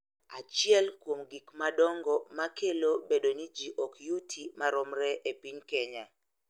Achiel kuom gik madongo ma kelo bedo ni ji ok yuti maromre e piny Kenya